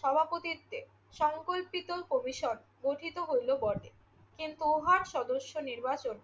সভাপতিত্বে সংকল্পিত কমিশন গঠিত হইল বটে কিন্তু উহার সদস্য নির্বাচন